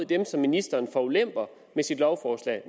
dem som ministeren forulemper med sit lovforslag